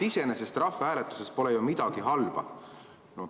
Iseenesest pole rahvahääletusest ju midagi halba.